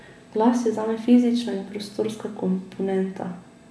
Glas je zame fizična in prostorska komponenta.